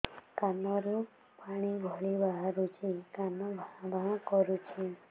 କାନ ରୁ ପାଣି ଭଳି ବାହାରୁଛି କାନ ଭାଁ ଭାଁ କରୁଛି